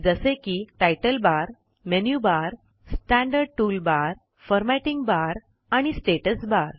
जसे की title bar menu bar standard tool bar formatting bar आणि स्टेटस बार